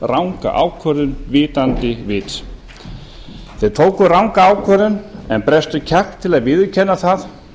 ranga ákvörðun vitandi vits þeir tóku ranga ákvörðun en brestur kjark til að viðurkenna það